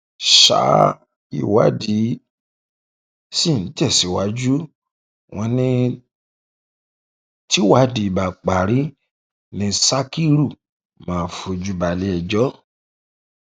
ṣá ìwádìí sì ń tẹsíwájú wọn ní tìwádìí bá parí ni sakiru máa fojú balẹẹjọ